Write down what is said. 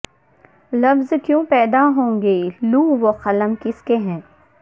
لفظ کیوں پہدا ہوگئے لوح وقلم کس کے ہیں